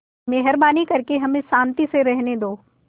मेहरबानी करके हमें शान्ति से रहने दो